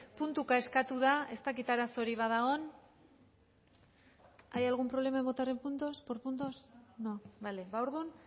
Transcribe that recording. puntuka eskatu da ez dakit arazorik badagoen hay algún problema en votar en puntos por puntos no bale ba orduan